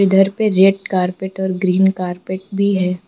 धर पे red carpet और ग्रीन कारपेट भी है।